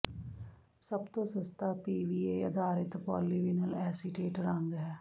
ਸਭ ਤੋਂ ਸਸਤਾ ਪੀਵੀਏ ਆਧਾਰਿਤ ਪੌਲੀਵਿਨਲ ਐਸੀਟੇਟ ਰੰਗ ਹੈ